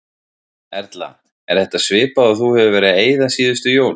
Erla: Er þetta svipað og þú hefur verið að eyða síðustu jól?